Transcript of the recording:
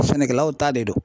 Sɛnɛkɛlaw ta de don.